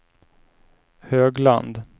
Högland